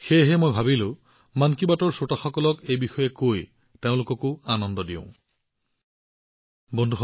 গতিকে মই ভাবিলো মন কী বাতৰ শ্ৰোতাসকলক এই কথা কৈ মই তেওঁলোককো সুখী কৰা উচিত